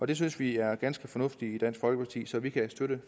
det synes vi er ganske fornuftigt i dansk folkeparti så vi kan støtte